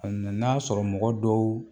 A nana sɔrɔ mɔgɔ dɔw